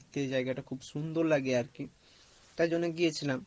জায়গা টা খুব সুন্দর লাগে আর কি তাই জন্য গিয়েছিলাম